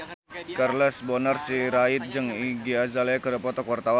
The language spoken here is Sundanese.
Charles Bonar Sirait jeung Iggy Azalea keur dipoto ku wartawan